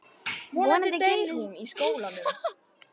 Vonandi kynnist hann öðrum börnum í skólanum.